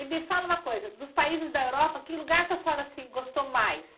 E me fala uma coisa, dos países da Europa, que lugar que a senhora assim gostou mais?